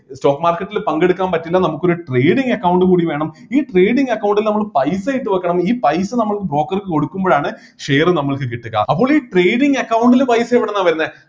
stockmarket ൽ പങ്കെടുക്കാൻ പറ്റില്ല നമുക്ക് ഒരു trading account കൂടി വേണം ഈ trading account ൽ നമ്മൾ പൈസ ഇട്ടുവെക്കണം ഈ പൈസ നമ്മള് broker ക്ക് കൊടുക്കുമ്പോഴാണ് share നമ്മൾക്ക് കിട്ടുക അപ്പോൾ ഈ trading account ൽ പൈസ എവിടെന്നാ വരുന്നെ